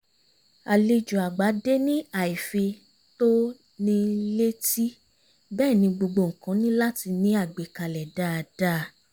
àlejò àgbà dé ní àìfi-tó-ni-létí bẹ́ẹ̀ ni gbogbo nǹkan ní láti ní àgbékalẹ̀ dáadáa